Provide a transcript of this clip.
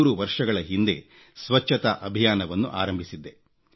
3 ವರ್ಷಗಳ ಹಿಂದೆ ಸ್ವಚ್ಛತಾ ಅಭಿಯಾನವನ್ನು ಆರಂಭಿಸಿದ್ದೆ